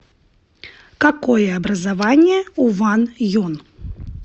какое образование у ван юн